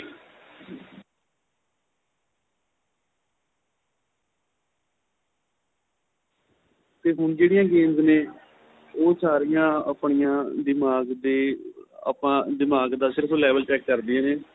ਤੇ ਹੁਣ ਜਿਹੜੀਆਂ games ਨੇ ਉਹ ਸਾਰੀਆਂ ਆਪਣੀਆਂ ਦਿਮਾਗ਼ ਦੇ ਆਪਾ ਦਿਮਾਗ਼ ਦਾਂ ਸਿਰਫ਼ level check ਕਰਦੀਆਂ ਨੇ